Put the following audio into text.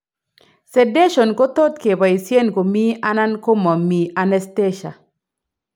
Sedation ko tot keboisien komii ala komomii anaesthesia